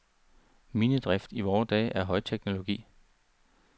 Minedrift i vore dage er højteknologi.